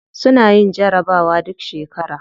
Suna yin jarabawa duk shekara.